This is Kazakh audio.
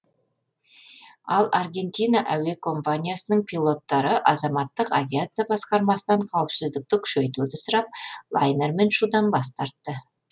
ал аргентина әуекомпаниясының пилоттары азаматтық авиация басқармасынан қауіпсіздікті күшейтуді сұрап лайнермен ұшудан бас тартты